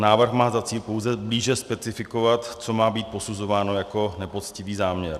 Návrh má za cíl pouze blíže specifikovat, co má být posuzováno jako nepoctivý záměr.